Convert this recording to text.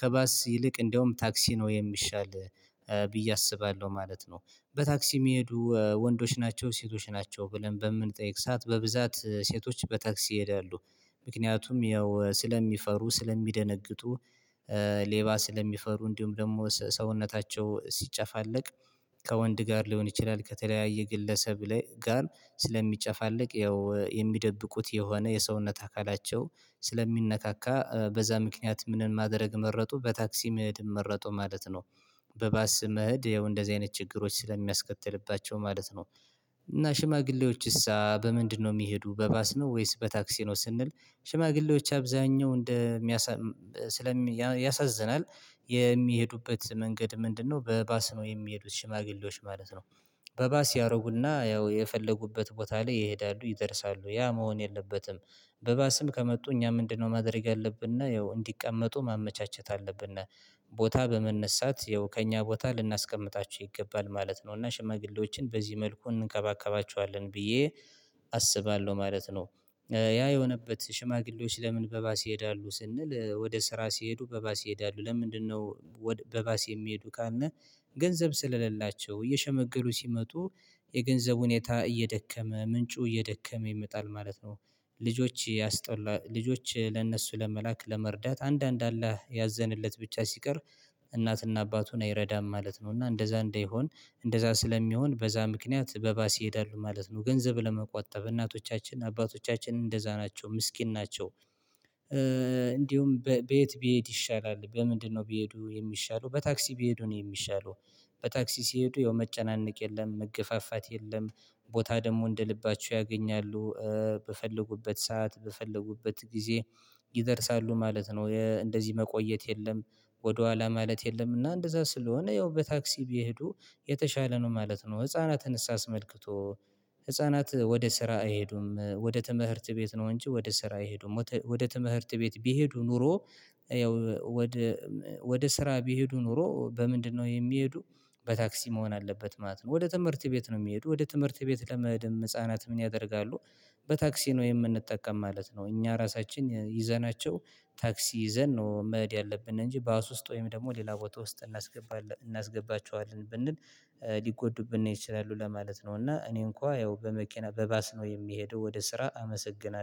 ከባስ ይልቅ እንደውም ታክሲ ነው የሚሻል ብዬ አስባለሁ ማለት ነው። በታክሲ የሚሄዱ ወንዶች ናቸው ሴቶች ናቸው ብለን በምንጠይቅ ሰዓት በብዛት ሴቶች በታክሲ ይሄዳሉ። ምክንያቱም ያው ስለሚፈሩ ስለሚደነግጡ ሌባ ስለሚፈሩ እንዲሁም ደግሞ ሰውነታቸው ሲጨፋለቅ ከወንድ ጋር ሊሆን ይችላል። ከተለያየ ግለሰብ ጋር ስለሚጨፋለቅ ያው የሚደብቁት የሆነ የሰውነት አካላቸው ስለሚነካካ በዛ ምክንያት ምንን ማድረግ መረጡ? በታክሲ መሄድን መረጡ ማለት ነው። በባስ መሄድ ያው እንደዚህ አይነት ችግሮች ስለሚያስከትልባቸው ማለት ነው። እና ሽማግሌዎች እሳ በምንድነው? የሚሄዱ በባስ ነው ወይስ በታክሲ ነው? ስንል ሽማግሌዎች አብዛኛው እንደ ያሳዝናል የሚሄዱበት መንገድ ምንድነው በባስ ነው የሚሄዱት ሽማግሌዎች ማለት ነው። በባስ ያደርጉና ያው የፈለጉበት ቦታ ላይ ይሄዳሉ ይደርሳሉ ያ መሆን የለበትም። በባስም ከመጡ እኛ ምንድነው? ማድረግ ያለብና ያው እንዲቀመጡ ማመቻቸት አለብን። ቦታ በመነሳት ያው ከእኛ ቦታ ልናስቀምጣቸው ይገባል ማለት ነው። እና ሽማግሌዎችን በዚህ መልኩ እንከባከባቸዋለን ብዬ አስባለሁ ማለት ነው። ያ የሆነበት ሽማግሌዎች ለምን? በባስ ይሄዳሉ ስንል ወደ ስራ ሲሄዱ በባስ ይሄዳሉ ለምንድነው? በባስ የሚሄዱ ካልን ገንዘብ ስለሌላቸው እየሸመገሉ ሲመጡ የገንዘቡ ሁኔታ እየደከመ ምንጩ እየደከመ ይመጣል ማለት ነው። ልጆች ያስጠላ ልጆች ለእነሱ ለመላክ ለመርዳት አንዳንድ አላህ ያዘንለት ብቻ ሲቀር እናትና አባቱን አይረዳም ማለት ነው። እና እንደዛ እንዳይሆን እንደዛ ስለሚሆን በዛ ምክንያት በባስ ይሄዳሉ ማለት ነው። ገንዘብ ለመቆጠብ እናቶቻችን አባቶቻችን እንደዛ ናቸው ምስኪን ናቸው። እንዲሁም በየት ቢሄድ ይሻላል በምንድነው? ቢሄዱ የሚሻለው በታክሲ ቢሄዱ ነው የሚሻለው። በታክሲ ሲሄዱ ያው መጨናነቅ የለም መገፋፋት የለም። ቦታ ደግሞ እንደ ልባችሁ ያገኛሉ በፈለጉበት ሰዓት በፈለጉበት ጊዜ ይደርሳሉ ማለት ነው። እንደዚህ መቆየት የለም። ወደኋላ ማለት የለም እና እንደዛ ስለሆነ ያው በታክሲ ቢሄዱ የተሻለ ነው ማለት ነው። ህፃናትን እሳ ስመልክቶ ህፃናት ወደ ስራ አይሄዱም ወደ ትምህርት ቤት ነው። እንጂ ወደ ስራ አይሄዱም። ወደ ትምህርት ቤት ቢሄዱ ኖሮ ያው ወደ ወደ ስራ ቢሄዱ ኖሮ በምንድነው? የሚሄዱ በታክሲ መሆን አለበት ማለት ነው። ወደ ትምህርት ቤት ነው የሚሄዱ ወደ ትምህርት ቤት ለመሄድም ህፃናት ምን ያደርጋሉ? በታክሲ ነው የምንጠቀም ማለት ነው። እኛ ራሳችን ይዘናቸው ታክሲ ይዘን ነው መሄድ ያለብን እንጂ ባስ ውስጥ ወይም ደግሞ ሌላ ቦታ ውስጥ እናስገባለን እናስገባቸዋለን ብንል ሊጎዱብን ይችላሉ ለማለት ነው። እና እኔ እንኳን ያው በመኪና በባስ ነው የሚሄደው ወደ ስራ አመሰግናለሁ